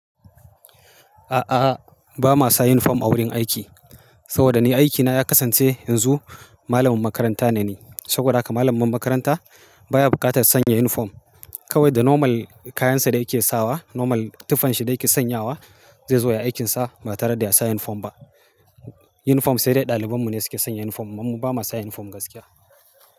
A'a, ba ma sa unifom a wurin aiki. Saboda ni aikina ya kasance yanzu malamin makaranta ne ni. Saboda haka mallamin makaranta baya bukatar sanya unifom. Kawai da normal kayansa da yake sawa, normal tufanshi da yake sanyawa zai zo ya yi aikinsa ba tare da ya sa yunifom ba. Unifom sai dai ɗaliban mu ne suke sanya unifom. Mu ba ma sa unifom gaskiya.